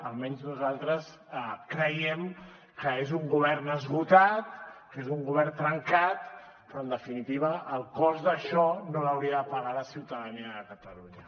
almenys nosaltres creiem que és un govern esgotat que és un govern trencat però en definitiva el cost d’això no l’hauria de pagar la ciutadania de catalunya